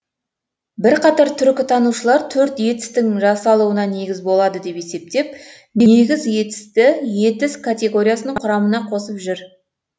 бірқатар түркітанушылар төрт етістің жасалуына негіз болады деп есептеп негіз етісті етіс категориясының құрамына қосып жүр